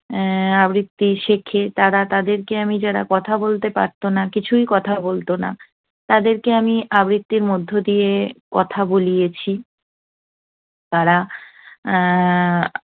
আহ আবৃত্তি শেখে তারা। তাদেরকে আমি যারা কথা বলতে পারত না, কিছুই কথা বলত না, তাদেরকে আমি আবৃত্তির মধ্য দিয়ে কথা বলিয়েছি। তারা উহ